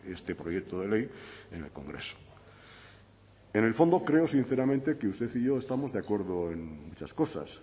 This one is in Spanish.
este proyecto de ley en el congreso en el fondo creo sinceramente que usted y yo estamos de acuerdo en muchas cosas